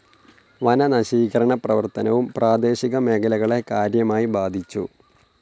വനനശീകരണപ്രവർത്തനവും പ്രാദേശിക മേഖലകളെ കാര്യമായി ബാധിച്ചു.